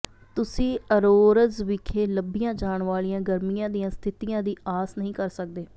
ਤੁਸੀਂ ਅਜ਼ੋਰਜ਼ ਵਿਖੇ ਲੱਭੀਆਂ ਜਾਣ ਵਾਲੀਆਂ ਗਰਮੀਆਂ ਦੀਆਂ ਸਥਿਤੀਆਂ ਦੀ ਆਸ ਨਹੀਂ ਕਰ ਸਕਦੇ